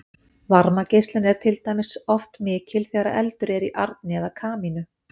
varmageislun er til dæmis oft mikil þegar eldur er í arni eða kamínu